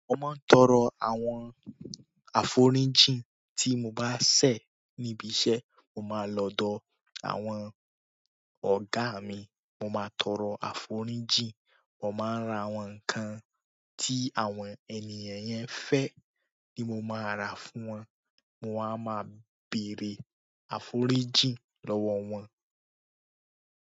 Mo máa ń tọrọ àwọn aforinjin tí mo bá ṣẹ̀ níbi iṣẹ́. Mo má lọ ọ̀dọ̀ àwọn ọ̀gá mi, mo má tọrọ aforinji, mo má ń ra àwọn ǹkan tí àwọn ènìyàn yẹn ń fẹ́, ni mo má ra fún wọ́n. Mo wá máa bèrè aforinji lọ́wọ́ wọn.